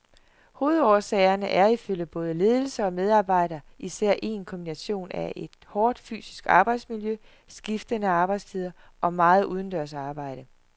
Hovedårsagerne er ifølge både ledelse og medarbejdere især en kombination af et hårdt fysisk arbejdsmiljø, skiftende arbejdstider og meget udendørs arbejde.